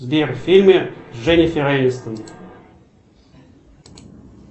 сбер фильмы с дженифер энистон